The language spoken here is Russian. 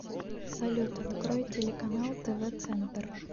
салют открой телеканал тв центр